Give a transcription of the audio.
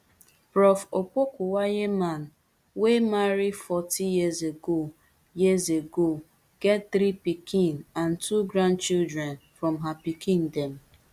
prof opokuagyemang wey marry forty years ago years ago get three pikin and two grandchildren from her pikin dem